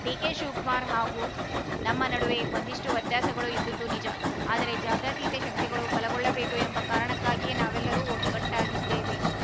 DK Shivakumar ಹಾಗೂ ನಮ್ಮ ನಡುವೆ ಒಂದಷ್ಟುವ್ಯತ್ಯಾಸಗಳು ಇದ್ದದ್ದು ನಿಜ ಆದರೆ ಜಾತ್ಯತೀತ ಶಕ್ತಿಗಳು ಬಲಗೊಳ್ಳಬೇಕು ಎಂಬ ಕಾರಣಕ್ಕಾಗಿಯೇ ನಾವೆಲ್ಲರೂ ಒಗ್ಗಟ್ಟಾಗಿದ್ದೇವೆ